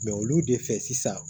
Mɛ olu de fɛ sisan